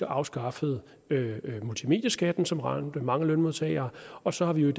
afskaffet multimedieskatten som ramte mange lønmodtagere og så har vi jo i